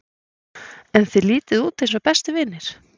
En þið lítið út eins og bestu vinir?